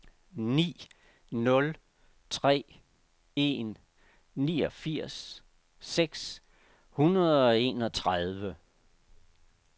ni nul tre en niogfirs seks hundrede og enogtredive